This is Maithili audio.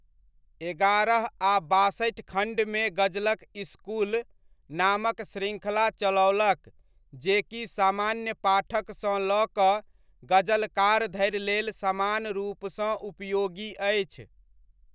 एगारह आ बासठि खण्डमे गजलक इसकुल नामक श्रृङ्खला चलौलक जे की समान्य पाठकसँ लऽ कऽ गजलकार धरि लेल समान रूपसँ उपयोगी अछि।